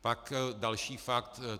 Pak další fakt.